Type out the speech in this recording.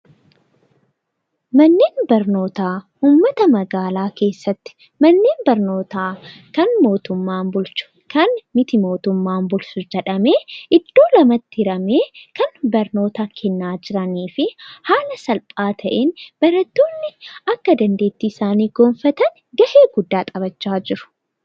Manneen barnoota iddoo dhaloonni itti qaramuudha. Manneen barnootaa abbummaa irratti hundaa'uun kan mootummaa fi dhuunfaa jedhamuun qoodamuu danda'a.